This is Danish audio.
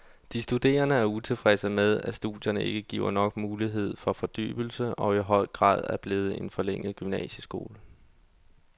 De studerende er utilfredse med, at studierne ikke giver nok mulighed for fordybelse og i for høj grad er blevet en forlænget gymnasieskole.